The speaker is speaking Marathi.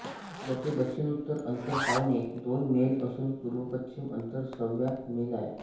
याचे दक्षिणोत्तर अंतर पावणे दोन मैल असून पूर्वपश्चिम अंतर सव्वा मैल आहे